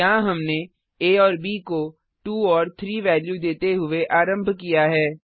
यहाँ हमने आ और ब को 2 और 3 वेल्यू देते हुए आरम्भ किया है